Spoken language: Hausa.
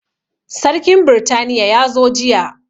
Sarkin britaniya ya zo jiya